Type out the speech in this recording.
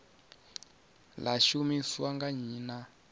ḽa shumiswa nga nnyi na